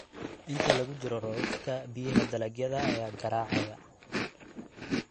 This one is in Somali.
Inta lagu jiro roobabka, biyaha dalagyada ayaa garaacaya.